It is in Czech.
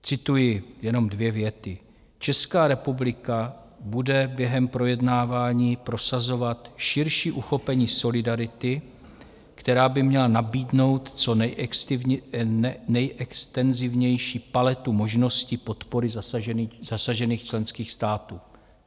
Cituji jenom dvě věty: "Česká republika bude během projednávání prosazovat širší uchopení solidarity, která by měla nabídnout co nejextenzivnější paletu možností podpory zasažených členských států."